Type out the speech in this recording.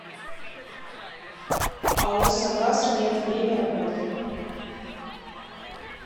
ао согаз мед время работы